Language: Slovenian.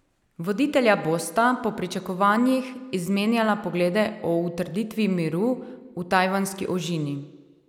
Voditelja bosta po pričakovanjih izmenjala poglede o utrditvi miru v Tajvanski ožini.